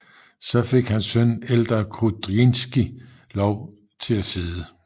Så fik hans søn Eldar Kudrinskij lov til at sidde